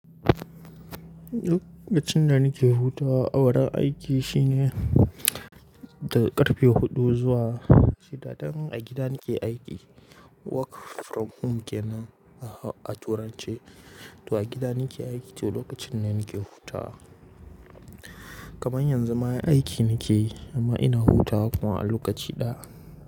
Lokacin da nake huta, a wurin aiki shine daga ƙarfe huɗu zuwa shida. Dan a gida nake aiki, work from home kenan a turance, to a gida nake aiki lokacin da nake huta. Kaman yanzu ma aiki nakeyi amma ina huta kuma a lokaci ɗaya.